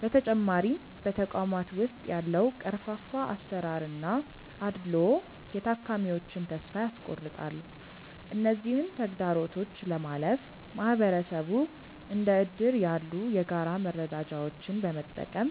በተጨማሪም በተቋማት ውስጥ ያለው ቀርፋፋ አሰራርና አድልዎ የታካሚዎችን ተስፋ ያስቆርጣል። እነዚህን ተግዳሮቶች ለማለፍ ማህበረሰቡ እንደ እድር ያሉ የጋራ መረዳጃዎችን በመጠቀም